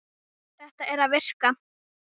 Þetta er að virka.